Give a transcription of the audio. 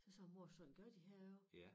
Så sagde hun mor sådan gør de herovre